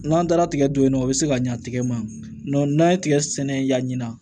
N'an taara tigɛ don yen nɔ o bɛ se ka ɲa tigɛ ma n'an ye tigɛ sɛnɛ yani